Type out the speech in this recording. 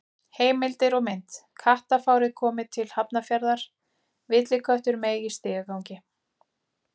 Heimildir og mynd: Kattafárið komið til Hafnarfjarðar: Villiköttur meig í stigagangi.